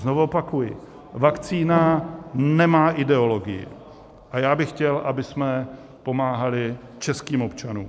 Znovu opakuji, vakcína nemá ideologii a já bych chtěl, abychom pomáhali českým občanům.